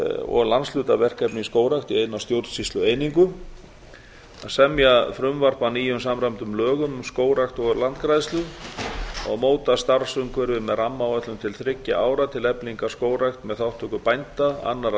og landshlutaverkefni í skógrækt í eina stjórnsýslueiningu c semja frumvarp að nýjum samræmdum lögum um skógrækt og landgræðslu d móta starfsumhverfi með rammaáætlun til þriggja ára til eflingar skógrækt með þátttöku bænda annarra